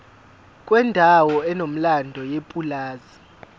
kwendawo enomlando yepulazi